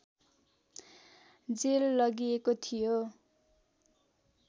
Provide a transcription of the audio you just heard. jail लगिएको थियो